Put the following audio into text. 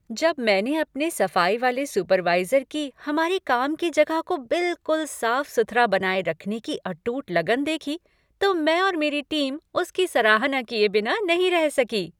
जब मैंने अपने सफाई वाले सुपरवाइज़र की हमारे काम की जगह को बिलकुल साफ सुथरा बनाए रखने की अटूट लगन देखी तो मैं और मेरी टीम उसकी सराहना किए बिना नहीं रह सकी।